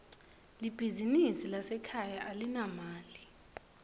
libizinsi lasekhaya alinamali